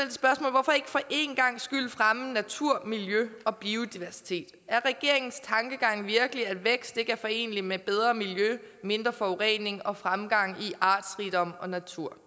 hvorfor ikke for en gangs skyld fremme natur miljø og biodiversitet er regeringens tankegang virkelig at vækst ikke er forenelig med bedre miljø mindre forurening og fremgang i artsrigdom og natur